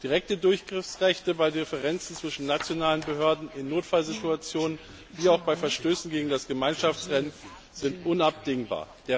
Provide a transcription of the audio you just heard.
Direkte Durchgriffsrechte bei Differenzen zwischen nationalen Behörden in Notfallsituationen wie auch bei Verstößen gegen das Gemeinschaftsrecht sind unabdingbar.